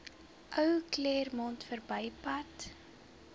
ou claremont verbypad